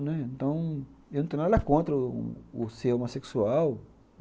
Então, eu não tenho nada contra o o ser homossexual.